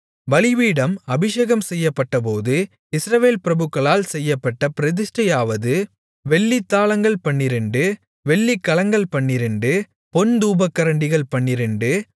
பலிபீடம் அபிஷேகம் செய்யப்பட்டபோது இஸ்ரவேல் பிரபுக்களால் செய்யப்பட்ட பிரதிஷ்டையாவது வெள்ளித்தாலங்கள் பன்னிரண்டு வெள்ளிக்கலங்கள் பன்னிரண்டு பொன் தூபகரண்டிகள் பன்னிரண்டு